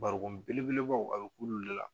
Barikon belebelebaw a bɛ k'olu de la.